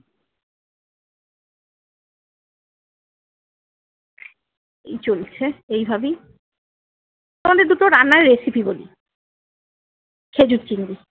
এই চলছে এইভাবেই। তোমাদের দুটো রান্নার recipe বলি। খেজুর চিংড়ি।